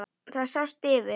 Það sást yfir